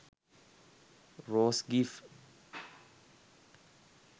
rose gif